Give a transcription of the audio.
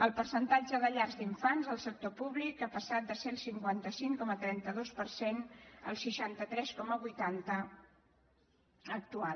el percentatge de llars d’infants al sector públic ha passat de ser el cinquanta cinc coma trenta dos per cent al seixanta tres coma vuitanta actual